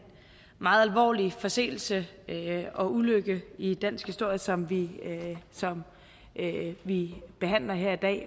meget alvorlig forseelse og ulykke i dansk historie som vi som vi behandler her i dag